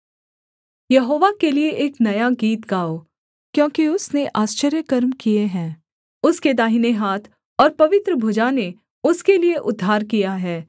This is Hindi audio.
यहोवा के लिये एक नया गीत गाओ क्योंकि उसने आश्चर्यकर्मों किए है उसके दाहिने हाथ और पवित्र भुजा ने उसके लिये उद्धार किया है